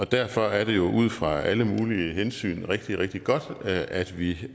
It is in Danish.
derfor er det jo ud fra alle mulige hensyn rigtig rigtig godt at vi